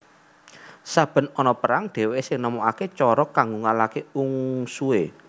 Saben ana perang dheweke sing nemokake cara kanggo ngalahake ungsuhe